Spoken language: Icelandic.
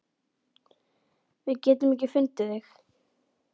Við getum ekki fundið þig.